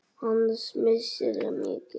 Hans missir er mikill.